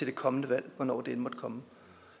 det kommende valg hvornår det end måtte komme